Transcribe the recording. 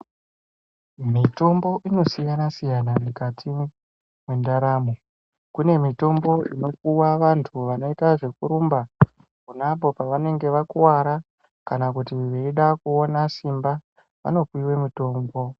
Mitombo inosiyana-siyana mukati mwendaramo. Kune mitombo inopuwa vantu vanoita zvekurumba ponapo pavanenge vakuvara kana kuti veyida kuona simba, vanopiwe mitombo.